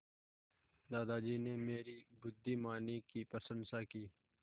दादाजी ने मेरी बुद्धिमानी की प्रशंसा की